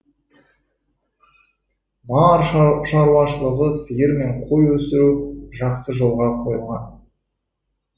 мал шаруашылығында сиыр мен қой өсіру жақсы жолға қойылған